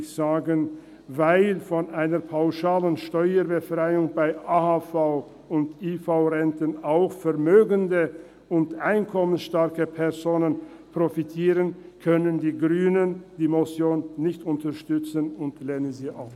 Weil von einer pauschalen Steuerbefreiung von AHV- und IV-Renten auch vermögende und einkommensstarke Personen profitieren würden, können die Grünen die Motion nicht unterstützen und lehnen sie ab.